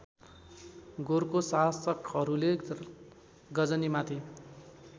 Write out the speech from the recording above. गोरको शासकहरूले गजनीमाथि